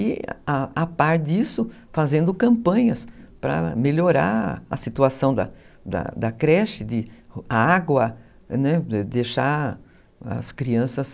E, a a par disso, fazendo campanhas para melhorar a situação da creche, a água, cuidar da saúde das crianças.